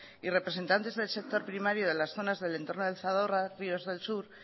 y representantes del sector primario de las zonas del entorno del zadorra ríos del sur